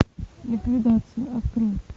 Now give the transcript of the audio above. ликвидация открой